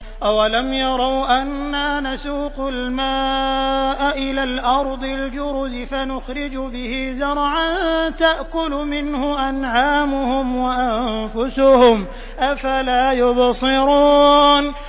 أَوَلَمْ يَرَوْا أَنَّا نَسُوقُ الْمَاءَ إِلَى الْأَرْضِ الْجُرُزِ فَنُخْرِجُ بِهِ زَرْعًا تَأْكُلُ مِنْهُ أَنْعَامُهُمْ وَأَنفُسُهُمْ ۖ أَفَلَا يُبْصِرُونَ